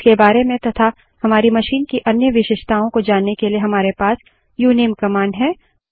इसके बारे में तथा हमारी मशीन की अन्य विशेषताओं को जानने के लिए हमारे पास उनमे कमांड है